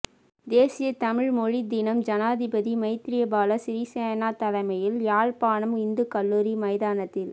தேசிய தமிழ் மொழித்தினம் ஜனாதிபதி மைத்திரிபால சிறிசேன தலைமையில் யாழ்ப்பாணம் இந்து கல்லூரி மைதானத்தில்